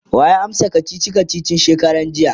waya amsa kachichi kachichin shekaran jiya?